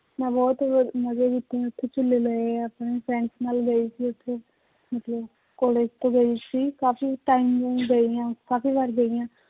ਮੈਂ ਬਹੁਤ ਮਜ਼ਾ ਲਿੱਤੇ ਹੈ ਉੱਥੇ ਝੂਲੇ ਲਏ ਹੈ ਆਪਣੇ friends ਨਾਲ ਗਈ ਸੀ ਉੱਥੇ ਮਤਲਬ college ਤੋਂ ਗਏ ਸੀ ਕਾਫ਼ੀ time ਗਈ ਹਾਂ ਕਾਫ਼ੀ ਵਾਰ ਗਈ ਹਾਂ